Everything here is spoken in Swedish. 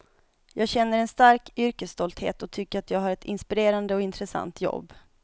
Jag känner en stark yrkesstolthet och tycker att jag har ett inspirerande och intressant jobb.